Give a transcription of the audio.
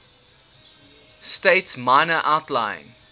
states minor outlying